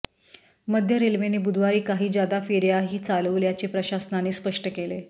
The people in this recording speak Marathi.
मध्य रेल्वेने बुधवारी काही जादा फेऱ्याही चालवल्याचे प्रशासनाने स्पष्ट केले